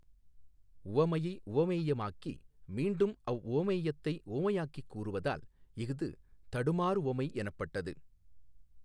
உவமையை உவமேயமாக்கி மீண்டும் அவ்வுவமேயத்தை உவமையாக்கிக் கூறுவதால் இஃது தடுமாறுவமை எனப்பட்டது.